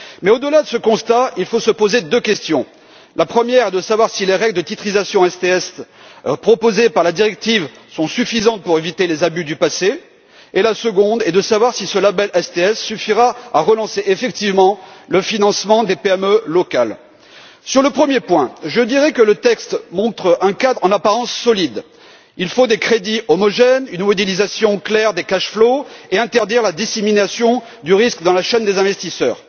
Mais, au delà de ce constat, il faut se poser deux questions la première est de savoir si les règles de titrisation STS proposées par la directive sont suffisantes pour éviter les abus du passé et la seconde est de savoir si ce label STS suffira à relancer effectivement le financement des PME locales. Sur le premier point, je dirai que le texte montre un cadre en apparence solide il faut des crédits homogènes, une modélisation claire des cashflows et interdire la dissémination du risque dans la chaîne des investisseurs.